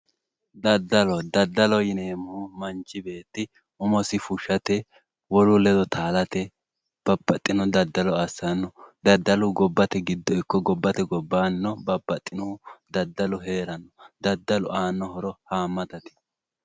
Daddallo, daddaloho yineemmohu manchi beetti umosi fushate wolu ledo taalate babbaxino daddallo assano daddalu gobbate giddonni ikko gobbate gobbannino babbaxinohu daddalu heerano daddalu aano horo hamattate.